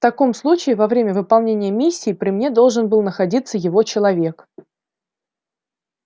в таком случае во время выполнения миссии при мне должен был находиться его человек